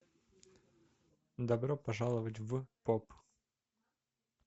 добро пожаловать в поп